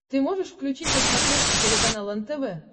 ты можешь включить на смотрешке телеканал нтв